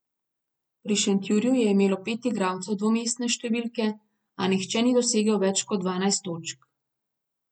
Pri Šentjurju je imelo pet igralcev dvomestne številke, a nihče ni dosegel več kot dvanajst točk.